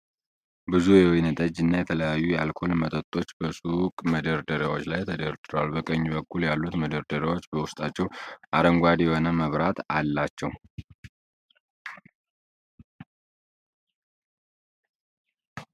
ብዙ የወይን ጠጅ እና የተለያዩ የአልኮል መጠጦች በሱቅ መደርደሪያዎች ላይ ተደርድረዋል። በቀኝ በኩል ያሉት መደርደሪያዎች በውስጣቸው አረንጓዴ የሆነ መብራት አላቸው።